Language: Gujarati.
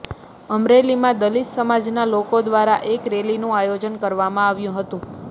અમરેલીમાં દલિત સમાજના લોકો દ્વારા એક રેલીનું આયોજન કરવામાં આવ્યું હતું